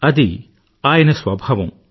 అది ఆయన స్వభావం